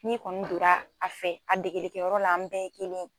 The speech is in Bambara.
N'i kɔni donra a fɛ a degelikɛyɔrɔ la an bɛɛ ye kelen ye.